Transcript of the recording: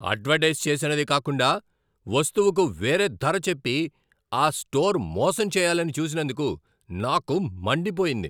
Advertise చేసినది కాకుండా వస్తువుకు వేరే ధర చెప్పి ఆ స్టోర్ మోసం చేయాలని చూసినందుకు నాకు మండిపోయింది.